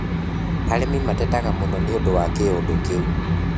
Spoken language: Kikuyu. Arĩmi matetaga mũno nĩũndũ wa kĩũndũ kĩu